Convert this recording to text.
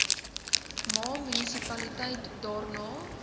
ma munisipaliteit daarna